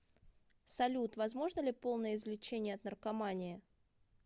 салют возможно ли полное излечение от наркомании